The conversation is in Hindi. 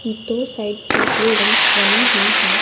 दो साइड्स से बिल्डिंग्स बनी हुई हैं।